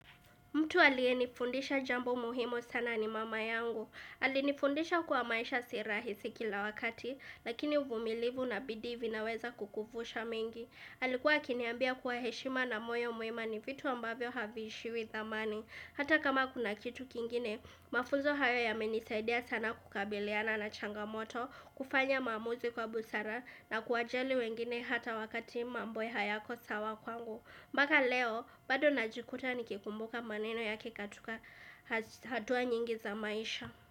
Mtu aliyenifundisha jambo muhimu sana ni mama yangu. Alinifundisha kuwa maisha si rahisi kila wakati, lakini uvumilivu na bidii vinaweza kukufunza mingi. Alikuwa akiniambia kuwa heshima na moyo mwema ni vitu ambavyo haviishiwi thamani. Hata kama kuna kitu kingine, mafunzo hayo yamenisaidia sana kukabiliana na changamoto, kufanya maamuzi kwa busara na kuwajali wengine hata wakati mambo hayako sawa kwangu. Mpaka leo, bado najikuta nikikumbuka maneno yake katika hatua nyingi za maisha.